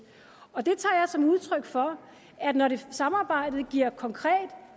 og det tager jeg som udtryk for at når samarbejdet giver konkret